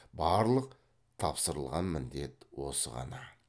барлық тапсырылған міндет осы ғана